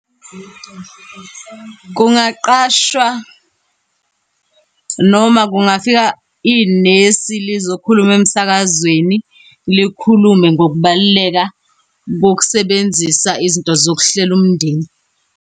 Kungaqashwa, noma kungafika inesi lizokhuluma emsakazweni. Likhulume ngokubaluleka kokusebenzisa izinto zokuhlela umndeni.